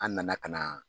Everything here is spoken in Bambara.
An nana ka na